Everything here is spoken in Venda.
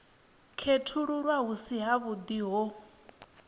khethululwa hu si havhuḓi ho